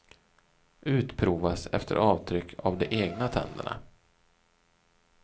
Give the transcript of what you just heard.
Utprovas efter avtryck av de egna tänderna.